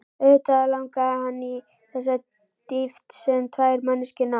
Auðvitað langaði hann í þessa dýpt sem tvær manneskjur ná.